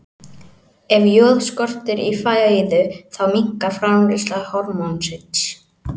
Ef joð skortir í fæðu þá minnkar framleiðsla hormónsins.